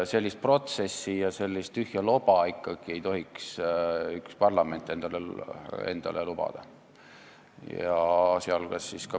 Sellist protsessi ja sellist tühja loba ei tohiks üks parlament endale lubada.